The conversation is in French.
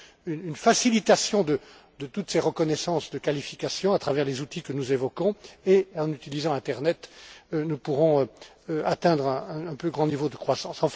une facilitation de toutes ces reconnaissances de qualifications à travers les outils que nous évoquons et en utilisant internet, nous pourrons atteindre un plus grand niveau de croissance.